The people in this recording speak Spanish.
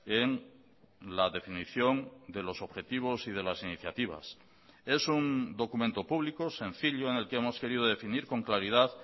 en la definición de los objetivos y de las iniciativas es un documento público sencillo en el que hemos querido definir con claridad